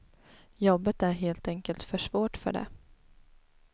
Jobbet är helt enkelt för svårt för det.